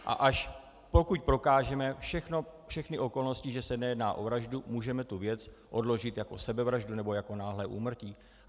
A až pokud prokážeme všechny okolnosti, že se nejedná o vraždu, můžeme tu věc odložit jako sebevraždu nebo jako náhlé úmrtí.